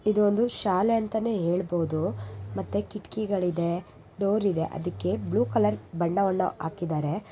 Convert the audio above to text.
ಇದು ಒಂದು ಶಾಲೆ ಅಂತಾನೆ ಹೇಳಬಹುದು ಮತ್ತೆ ಕಿಟಕಿಗಳ್ ಇದೆ ಡೋರ್ ಇದೆ ಆದಿಕ್ಕೆ ಬ್ಲ್ಯೂ ಕಲರ್ ಬಣ್ಣವನ್ನು ಹಾಕಿದರೆ .